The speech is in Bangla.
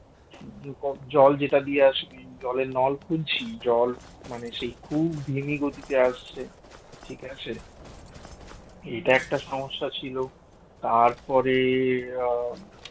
জল যেটা দিয়ে আসে জলের নল খুঁজছি জল মানে সেই খুব দিমি গতিতে আসছে ঠিক আছে এটা একটা সমস্যা ছিল আর তারপরে আহ